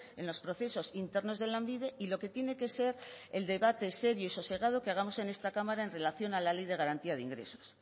en los procesos internos de lanbide y lo que tiene que ser el debate serio y sosegado que hagamos en esta cámara en relación a la ley de garantía de ingresos